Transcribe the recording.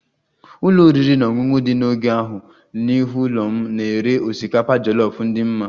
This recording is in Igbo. Ụlọ oriri na ọṅụṅụ dị n'ógbè ahụ n'ihu ụlọ m na-ere osikapa jollof dị mma